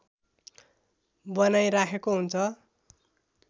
बनाइराखेको हुन्छ